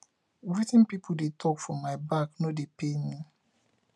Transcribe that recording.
wetin pipu dey talk for my back no dey pain me